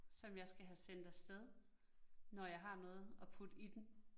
Som jeg skal have sendt af sted, når jeg har noget at putte i den